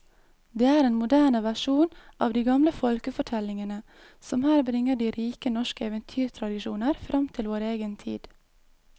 Det er en moderne versjon av de gamle folkefortellingene som her bringer de rike norske eventyrtradisjoner fram til vår egen tid.